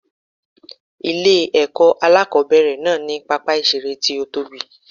Ilé èkó alákòóbèrè náà ní pápá ìseré tí ó tóbi